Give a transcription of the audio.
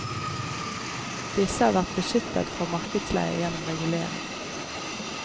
Disse har vært beskyttet fra markedsleie gjennom regulering.